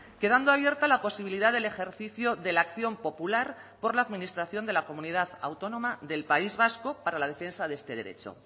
quedando abierta la posibilidad del ejercicio de la acción popular por la administración de la comunidad autónoma del país vasco para la defensa de este derecho